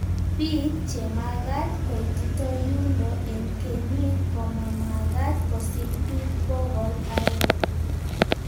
Biik chemagaat koitita yundo eng kenyiik komamagaat kosiir biik bokol aeng.